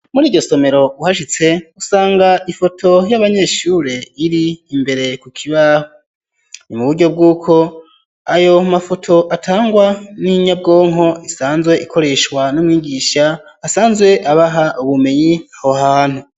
Muriryo somero uhashitse usanga ifoto y'abanyeshure iri imbere ku kibaho ni muburyo bwuko ayo mafoto atangwa n'inyabwonko isanzwe ikoreshwa n'umwigisha asanzwe abaha ubumenyi aho hantu.